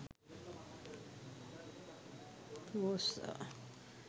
rosa